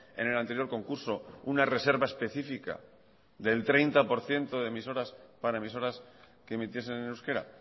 en el anterior concurso una reserva específica del treinta por ciento de emisoras para emisoras que emitiesen en euskera